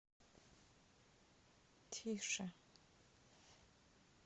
тише